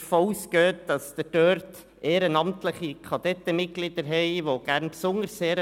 Was mich fast noch mehr interessiert: